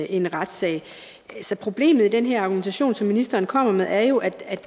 en retssag problemet i den her argumentation som ministeren kommer med er jo at